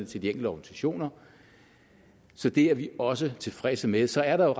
til de enkelte organisationer så det er vi også tilfredse med så er der